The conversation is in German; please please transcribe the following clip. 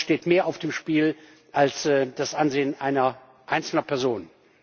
Sonst steht mehr auf dem Spiel als das Ansehen einer einzelnen Person.